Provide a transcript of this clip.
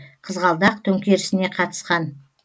қызғалдақ төңкерісіне қатысқан